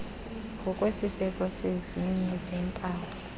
ngokwesiseko sezinye zeempawu